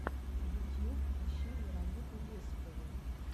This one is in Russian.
ютьюб ищи веронику есипову